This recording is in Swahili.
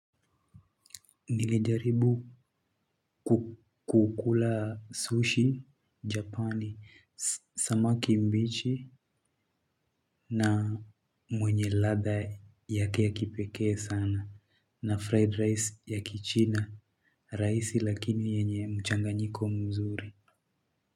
Nilijaribu kukula sushi Japan samaki mbichi na mwenye ladha yake ya kipekee sana na fried rice ya Kichina. Rahisi lakini yenye mchanganyiko mzuri.